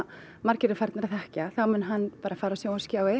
margir eru farnir að þekkja þá mun hann bara fara á sjónvarpsskjái